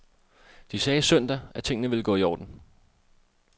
De sagde søndag, at tingene ville gå i orden.